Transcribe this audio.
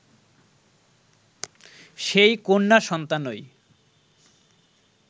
সেই কন্যা সন্তানই